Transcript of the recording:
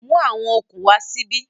Mú àwọn okùn wá síbí